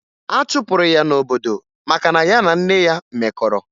A chụpụrụ ya n'obodo maka na ya na nne ya mekọrọ